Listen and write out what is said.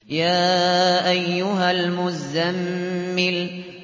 يَا أَيُّهَا الْمُزَّمِّلُ